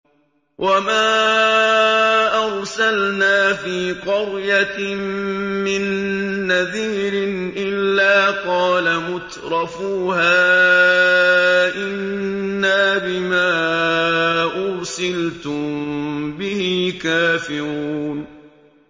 وَمَا أَرْسَلْنَا فِي قَرْيَةٍ مِّن نَّذِيرٍ إِلَّا قَالَ مُتْرَفُوهَا إِنَّا بِمَا أُرْسِلْتُم بِهِ كَافِرُونَ